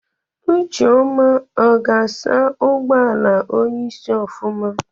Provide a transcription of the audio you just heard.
Ucheọma ọ ga-asa ụgbọala onyeisi ofụma?